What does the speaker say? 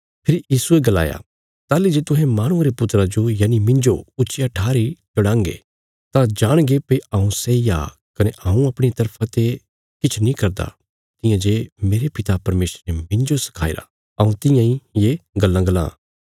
फेरी यीशुये गलाया ताहली जे तुहें लोक माहणुये रे पुत्रा जो यनि मिन्जो ऊच्चिया ठारी चढ़ांगे तां जाणगे भई हऊँ सैई आ कने हऊँ अपणिया तरफा ते किछ नीं करदा पर तियां जे मेरे पिता परमेशरे मिन्जो सखाईरा हऊँ तियां इ ये गल्लां बोलां